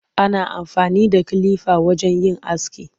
Ana amfani da kilifa wajen yin aski.